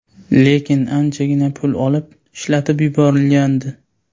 Lekin anchagina pul olib, ishlatib yuborilgandi.